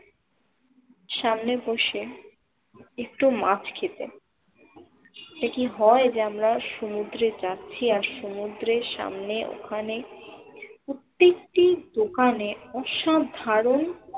সামনে বসে একটু মাছ খেতে যে কি হয় যে আমরা সমুদ্রে যাচ্ছি আর সমুদ্রের সামনে ওখানে প্রতিটি দোকানে অসাধারণ